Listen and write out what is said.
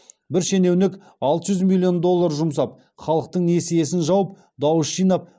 бір шенеунік алты жүз миллион доллар жұмсап халықтың несиесін жауып дауыс жинап